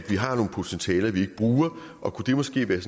vi har nogle potentialer vi bruger og kunne det måske være